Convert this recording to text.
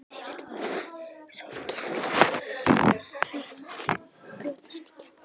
Daufir sólgeislar að reyna að brjótast í gegn.